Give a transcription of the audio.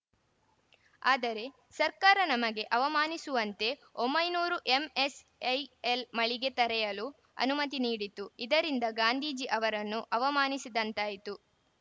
ಆದರೆ ಸರ್ಕಾರ ನಮಗೆ ಅವಮಾನಿಸುವಂತೆ ಒಂಬೈನೂರು ಎಂಎಸ್‌ಐಎಲ್‌ ಮಳಿಗೆ ತೆರೆಯಲು ಅನುಮತಿ ನೀಡಿತು ಇದರಿಂದ ಗಾಂಧಿಜಿ ಅವರನ್ನು ಅವಮಾನಿಸಿದಂತಾಯಿತು